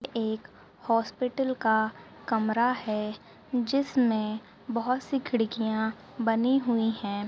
ये ऐक हॉस्पिटल का कमरा है जिस में बहुत सी खीड़किया बनी हुई है।